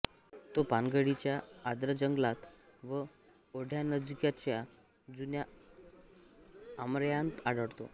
तो पानगळीच्या आर्द्र जंगलात व ओढ्यानजीकच्या जुन्या आमरायांत आढळतो